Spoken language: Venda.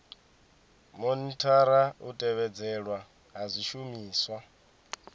monithara u tevhedzelwa ha zwishumiswa